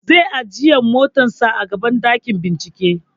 Zai ajiye motar sa a gaban ɗakin bincike